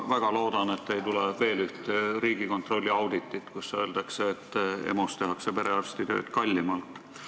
Ma väga loodan, et ei tule veel üht Riigikontrolli auditit, kus öeldakse, et EMO-s tehakse perearstitööd kallimalt.